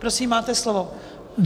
Prosím, máte slovo.